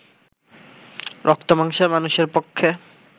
রক্তমাংসের মানুষের পক্ষে